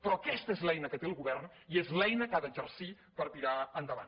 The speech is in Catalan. però aquesta és l’eina que té el govern i és l’eina que ha d’exercir per tirar endavant